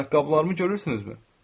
Ayaqqabılarımı görürsünüzmü?